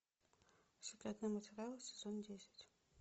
секретные материалы сезон десять